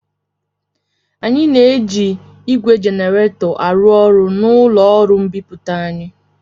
Anyị na-eji ígwè jenaretọ arụ ọrụ n'ụlọ ọrụ mbipụta anyị.